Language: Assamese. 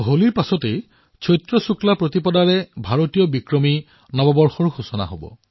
হোলীৰ পিছত চৈত্ৰ শুক্লপ্ৰতিপদৰ পৰা ভাৰতীয় বিক্ৰমী নৱবৰ্ষ আৰম্ভ হয়